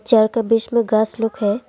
Chair के बीच मे घास लोग हैं।